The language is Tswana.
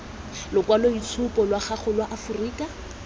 lokwaloitshupu lwa gago lwa aforika